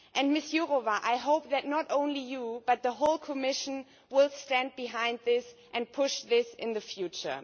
Ms Jourová, I hope that not only you, but the whole Commission, will stand behind this and push this in the future.